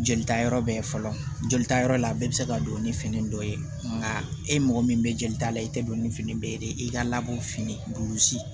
Jelita yɔrɔ bɛɛ fɔlɔ jolita yɔrɔ la a bɛɛ bɛ se ka don ni fini dɔ ye nka e mɔgɔ min bɛ jelita la i tɛ don ni fini bɛɛ ye dɛ i ka labɔ fini